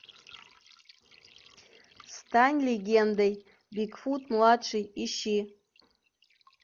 стань легендой бигфут младший ищи